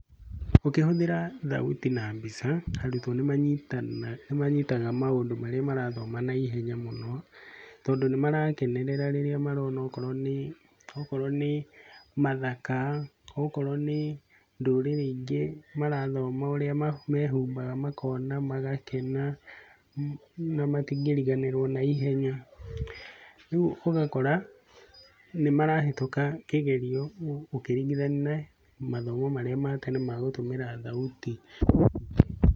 Ũkĩhũthĩra thauti na mbica, nĩ manyitaga maũndũ marĩa marathoma na ihenya mũno, tondũ nĩ marakenera rĩrĩa marona okorwo nĩ, okorwo nĩ mathaka, okorwo nĩ ndũrĩrĩ ingĩ marathoma ũrĩa mehumbaga makona, magakena na matingĩriganĩrwo na ihenya. Rĩu ũgakora nĩ marahĩtũka kĩgerio ũkĩringithania na mathomo marĩa ma tene ma gũtũmĩra thauti.